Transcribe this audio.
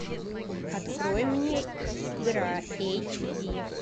открой мне игра эйч ди